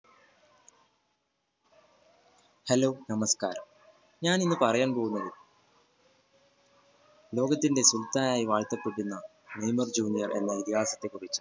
hello നമസ്കാരം ഇന്ന് ഞാൻ പറയാൻ പോകുന്നത് ലോകത്തിന്റെ സുൽത്താനായി വാഴ്കപെട്ടിരുന്ന നെയ്മർ junior എന്ന് വിദ്യാർത്ഥിനിയെ കുറിച്ച്